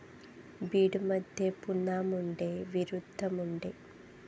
बीडमध्ये पुन्हा मुंडे विरूद्ध मुंडे